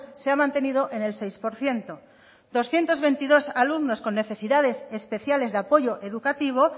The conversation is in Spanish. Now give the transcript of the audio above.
se ha mantenido en el seis por ciento doscientos veintidós alumnos con necesidades especiales de apoyo educativo